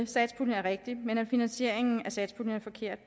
satspuljen er rigtigt men at finansieringen af satspuljen er forkert